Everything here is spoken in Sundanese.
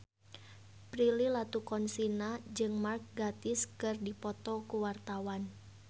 Prilly Latuconsina jeung Mark Gatiss keur dipoto ku wartawan